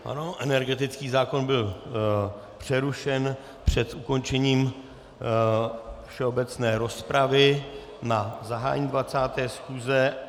Ano, energetický zákon byl přerušen před ukončením všeobecné rozpravy na zahájení 20. schůze.